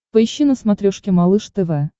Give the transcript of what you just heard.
поищи на смотрешке малыш тв